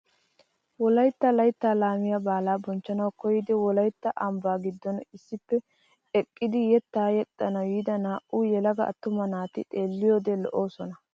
Wolaytta layttaa laamiyaa baalaa bochchanawu koyyidi wolaytta ambbaa giddon issippe eqqidi yettaa yexxanawu yiida naa"u yelaga attuma naati xeelliyoode lo"oosona.